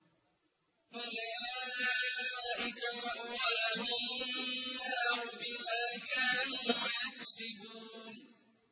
أُولَٰئِكَ مَأْوَاهُمُ النَّارُ بِمَا كَانُوا يَكْسِبُونَ